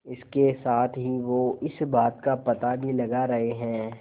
इसके साथ ही वो इस बात का पता भी लगा रहे हैं